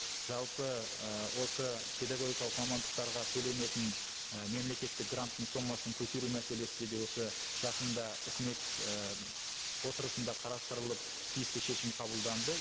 жалпы ы осы педагогикалық мамандықтарға төленетін і мемлекеттік гранттың сомасын көтеру мәселесіде де осы жақында үкімет і отырысында қарастырылып тиісті шешім қабылданды